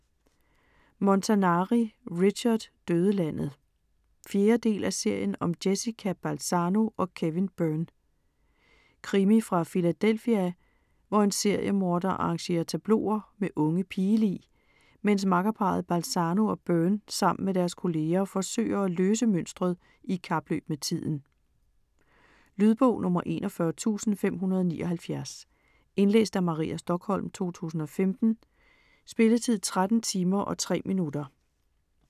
Montanari, Richard: Dødelandet 4. del af serien om Jessica Balzano & Kevin Byrne. Krimi fra Philadelphia, hvor en seriemorder arrangerer tableauer med unge pigelig, mens makkerparret Balanzo og Byrne sammen med deres kolleger forsøger at løse mønstret i kapløb med tiden. Lydbog 41579 Indlæst af Maria Stokholm, 2015. Spilletid: 13 timer, 3 minutter.